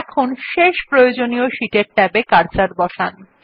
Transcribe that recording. এখন শেষ প্রয়োজনীয় শীট এর ট্যাব এ কার্সর বসান